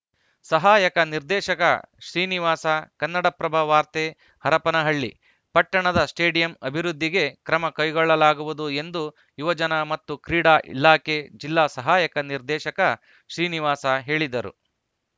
ಸಹಾಯಕ ನಿರ್ದೇಶಕ ಶ್ರೀನಿವಾಸ ಕನ್ನಡಪ್ರಭ ವಾರ್ತೆ ಹರಪನಹಳ್ಳಿ ಪಟ್ಟಣದ ಸ್ಟೇಡಿಯಂ ಅಭಿವೃದ್ಧಿಗೆ ಕ್ರಮ ಕೈಗೊಳ್ಳಲಾಗುವುದು ಎಂದು ಯುವಜನ ಮತ್ತು ಕ್ರೀಡಾ ಇಲಾಖೆ ಜಿಲ್ಲಾ ಸಹಾಯಕ ನಿರ್ದೇಶಕ ಶ್ರೀನಿವಾಸ ಹೇಳಿದರು